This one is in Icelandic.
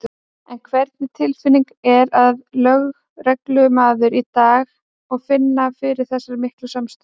En hvernig tilfinning er að vera lögreglumaður í dag og finna fyrir þessari miklu samstöðu?